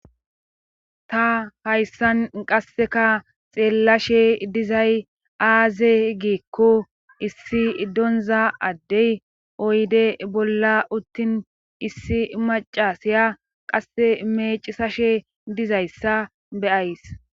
ta hayssan qasseka xeellashe dizay aaze giikko issi donza addey oyde bolla uttin issi macasiya qasse meecisashe dizayssa be'ays